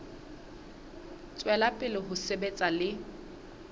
tswela pele ho sebetsa le